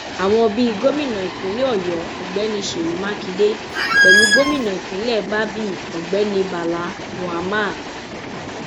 àwọn bíi gómìnà ìpínlẹ ọyọ ọgbẹni sèyí mákindè pẹlú gómìnà ìpínlẹ babíi ọgbẹni bala mohammad